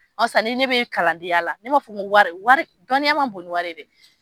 sisan ni ne bɛ kalandenya la ne m'a fɔ ko wari, wari, dɔnniya man bon ni wari ye dɛ.